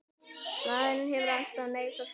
Maðurinn hefur alltaf neitað sök.